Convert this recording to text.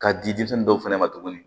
K'a di denmisɛnnin dɔw fɛnɛ ma tuguni